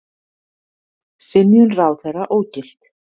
Synjun ráðherra ógilt